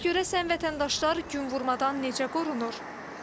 Bəs görəsən vətəndaşlar günvurmadan necə qorunur?